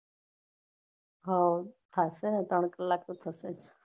હૌ થાશે ને ત્રણ કલાક તો થશે જ.